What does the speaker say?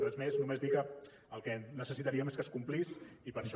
res més només dir que el que necessitaríem és que es complís i per això